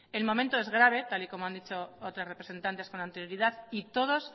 el momento es grave tal y como han dicho otros representantes con anterioridad y todos